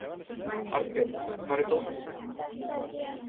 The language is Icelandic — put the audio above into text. Arngerður, hvar er dótið mitt?